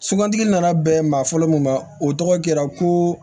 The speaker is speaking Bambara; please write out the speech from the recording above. Sugandili nana bɛn maa fɔlɔ mun ma o tɔgɔ kɛra ko